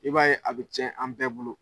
I b'a ye a bɛ cɛn an bɛɛ bolo.